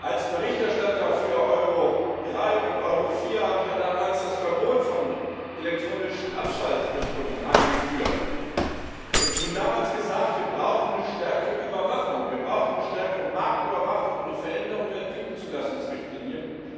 Als Berichterstatter für Euro 3 und Euro 4 habe ich ja damals das Verbot von elektronischen Abschalteinrichtungen eingeführt und schon damals gesagt Wir brauchen eine stärkere Überwachung. Wir brauchen eine stärkere Marktüberwachung und eine Veränderung der Typzulassungsrichtlinie.